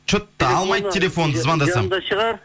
че то алмайды телефонды звондасам жанында шығар